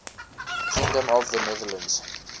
kingdom of the netherlands